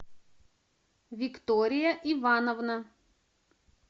виктория ивановна